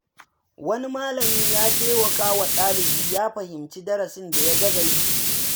Wani malami ya taimaka wa ɗalibi ya fahimci darasin da ya gaza yi.